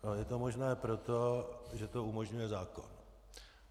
Je to možné proto, že to umožňuje zákon.